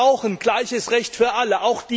Wir brauchen gleiches Recht für alle!